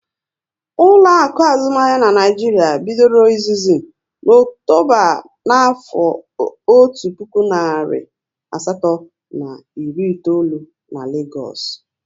Ụlọakụ azụmahịa n'Naijiria bidoro izizi na Ọktoba na afo ọtu puku narị asatọ na iri itoolu n'Legoosu